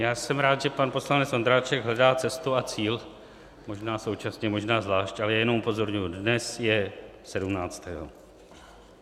Já jsem rád, že pan poslanec Ondráček hledá cestu a cíl, možná současně, možná zvlášť, ale jenom upozorňuji, dnes je sedmnáctého.